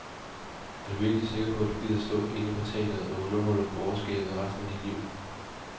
Er du virkelig sikker på, at du gider stå inde på teatret og underholde borgerskabet resten af dit liv.